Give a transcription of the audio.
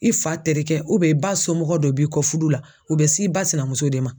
I fa terikɛ i ba somɔgɔ dɔ b'i kɔ furu la u bɛ s'i ba sinamuso de ma.